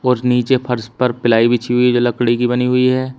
और नीचे फर्श पर प्लाई बिछी हुई है जो लकड़ी की बनी हुई है।